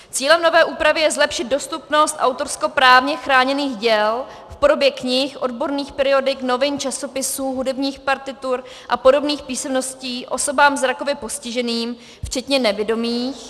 Cílem nové úpravy je zlepšit dostupnost autorskoprávně chráněných děl v podobě knih, odborných periodik, novin, časopisů, hudebních partitur a podobných písemností osobám zrakově postiženým včetně nevidomých...